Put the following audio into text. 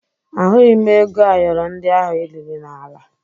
Ahụghị m ego ayọrọ ndị ahụ i liri n'ala